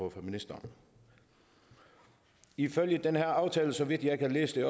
af fra ministeren ifølge den her aftale så vidt jeg kan læse den